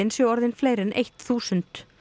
séu orðin fleiri en eitt þúsund